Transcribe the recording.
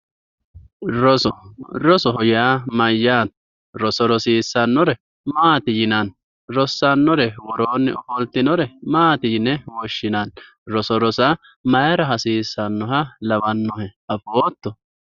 roso rosoho yaa mayyaate roso rosiissannore maati yine woshshinanni rossannore maati yine woshshinanni roso rosa mayiira hasiissannoro afootto?